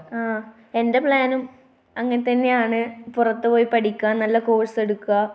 ങ്ഹാ. എന്റെ പ്ലാനും അങ്ങനെ തന്നെയാണ്. പുറത്തു പോയി പഠിക്കുക, നല്ല കോഴ്സ് എടുക്കുക.